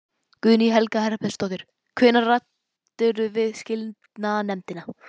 Guðný Helga Herbertsdóttir: Hvenær ræddirðu við skilanefndina?